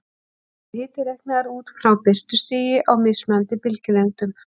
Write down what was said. Þá er hiti reiknaður út frá birtustigi á mismunandi bylgjulengdum.